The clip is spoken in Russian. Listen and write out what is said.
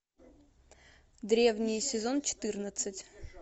древние сезон четырнадцать